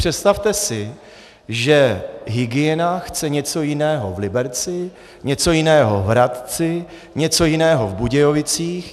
Představte si, že hygiena chce něco jiného v Liberci, něco jiného v Hradci, něco jiného v Budějovicích.